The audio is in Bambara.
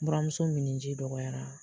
Buramuso minni ji dɔgɔyara.